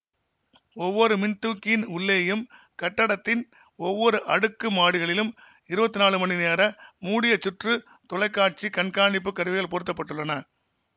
ஒவ்வொரு மின்தூக்கியின் உள்ளேயும் கட்டடத்தின் ஒவ்வொரு அடுக்கு மாடிகளிலும் இருபத்தி நாலு மணி நேர மூடியசுற்று தொலைக்காட்சி கண்காணிப்பு கருவிகள் பொருத்த பட்டுள்ளன